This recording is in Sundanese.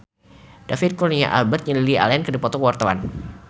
David Kurnia Albert jeung Lily Allen keur dipoto ku wartawan